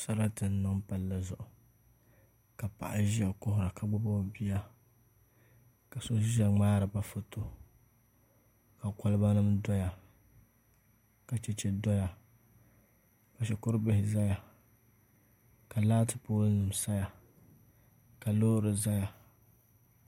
Sarati n niŋ palli zuɣu ka paɣa ʒiya kuhura ka gbubi o bia ka so ʒiya ŋmaariba foto ka koliba nim doya ka chɛchɛ doya ka shikuru bihi ʒɛya ka laati pool nim saya ka loori ʒɛya